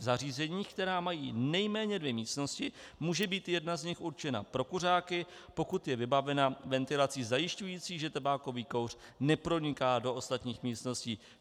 V zařízeních, která mají nejméně dvě místnosti, může být jedna z nich určena pro kuřáky, pokud je vybavena ventilací zajišťující, že tabákový kouř neproniká do ostatních místností.